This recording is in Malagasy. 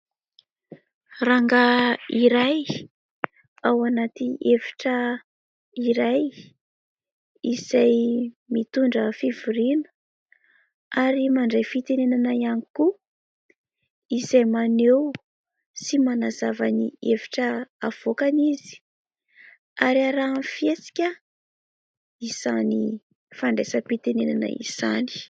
Rangahy iray, ao anaty efitra iray izay mitondra fivoriana ary mandray fitenenana ihany koa izay maneho sy manazava ny hevitra avoakany izy ary arahany fihetsika izany fandraisam-pitenenana izany.